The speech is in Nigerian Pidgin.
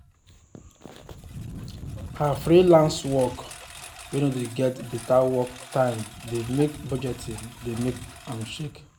her freelenace work wen no wen no de get better work time de make budgeting de make am shake